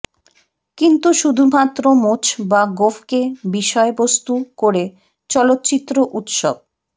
কিন্তু শুধুমাত্র মোচ বা গোঁফকে বিষয়বস্তু করে চলচ্চিত্র উৎসব